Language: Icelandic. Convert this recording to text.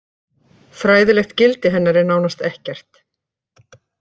Fræðilegt gildi hennar er nánast ekkert.